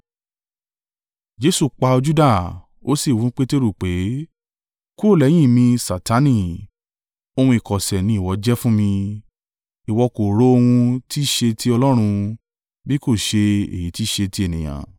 Jesu pa ojú dà, ó sì wí fún Peteru pé, “Kúrò lẹ́yìn mi, Satani! Ohun ìkọ̀sẹ̀ ni ìwọ jẹ́ fún mi; ìwọ kò ro ohun tí i ṣe ti Ọlọ́run, bí kò ṣe èyí ti ṣe ti ènìyàn.”